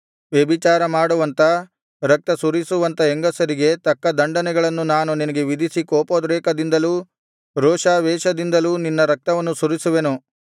ವ್ಯಭಿಚಾರ ಮಾಡುವಂಥ ರಕ್ತಸುರಿಸುವಂಥ ಹೆಂಗಸರಿಗೆ ತಕ್ಕ ದಂಡನೆಗಳನ್ನು ನಾನು ನಿನಗೆ ವಿಧಿಸಿ ಕೋಪೋದ್ರೇಕದಿಂದಲೂ ರೋಷಾವೇಶದಿಂದಲೂ ನಿನ್ನ ರಕ್ತವನ್ನು ಸುರಿಸುವೆನು